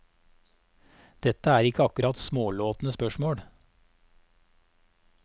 Dette er ikke akkurat smålåtne spørsmål.